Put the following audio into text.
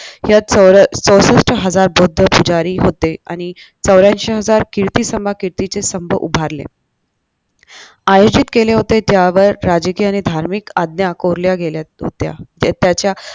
यात चौरा चौसष्ट हजार बौद्ध पुजारी होते आणि चौऱ्यांशी हजार कीर्ती सम कीर्तिचे स्तंभ उभारले आयोजित केले होते ज्यावर राजकीय आणि धार्मिक आज्ञा कोरल्या गेल्या होत्या ते त्याच्या